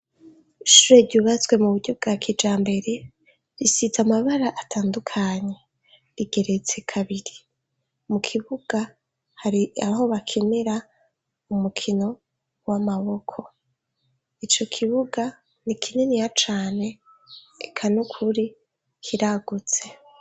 Ishure ryubatswe mu buryo bwa kijambere risize amabara atandukanye rigeretse kabiri, mu kibuga hari aho bakinira umukino w'amaboko, ico kibuga ni kininiya cane eka nukuri kiragutse.